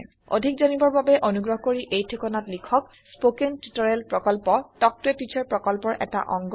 অধিক জানিবৰ বাবে অনুগ্ৰহ কৰি এই ঠিকনাত লিখক contactspoken tutorialorg স্পৌকেন টিওটৰিয়েলৰ প্ৰকল্প তাল্ক ত a টিচাৰ প্ৰকল্পৰ এটা অংগ